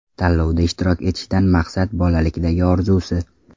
Tanlovda ishtirok etishdan maqsad: bolalikdagi orzusi.